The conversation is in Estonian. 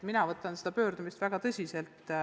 Mina võtan seda pöördumist väga tõsiselt.